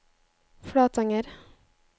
Flatanger